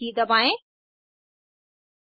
toolbar पर save the current file button पर click करें